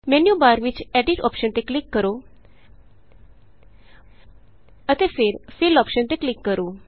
menu bar ਵਿਚ edit option ਤੇ click ਕਰੋ ਅਤੇ ਫਿਰ ਫਿੱਲ ਅੋਪਸ਼ਨ ਤੇ ਕਲਿਕ ਕਰੋ